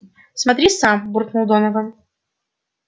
смотри сам буркнул донован